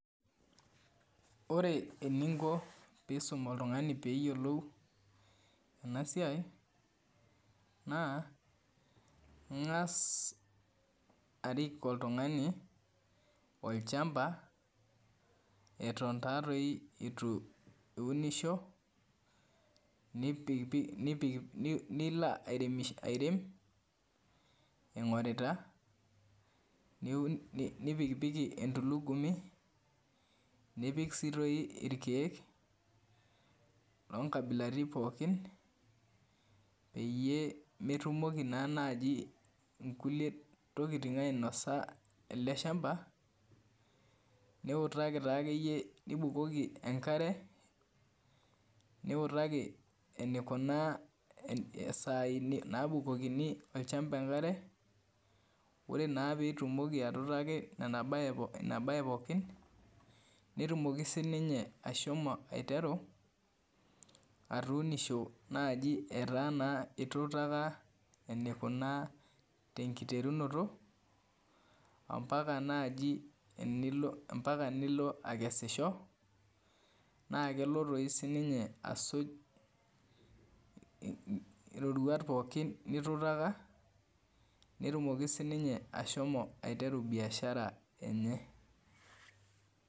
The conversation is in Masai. Ore eninko pee iisum oltung'ani pee eyiolou ena siai naa ing'as arik oltung'ani olchamba eton taatoi itu eunisho nilo airem ing'orita nipikipiki entulugumi nipik sii tooi irkeek oonkabilaitin pookin peyie metumoki naa naaji nkulie tokitin ainasa ele shamba niutaki taakeyie nibukoki enkare niutaki enikunaa isaai naabukoki olchamba enkare ore naa pee itumoki atuutaki kuna baa pookin netumoki sininye ashomo aiteru atuunisho naaji etaa naa ituutaka enikunaa tenkiterunoto ompaka nilo akesisho naa kelo tooi sininye asuj iroruat pookin nituutaka netumoki sininye ashomo aiteru biashara enye.